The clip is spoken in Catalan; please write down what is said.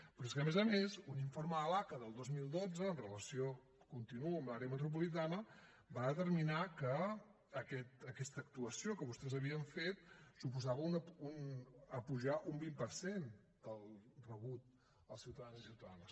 però és que a més a més un informe de l’aca del dos mil dotze en relació continuo amb l’àrea metropolitana va determinar que aquesta actuació que vostès havien fet suposava apujar un vint per cent el rebut als ciutadans i ciutadanes